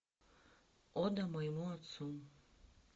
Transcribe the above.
ода моему отцу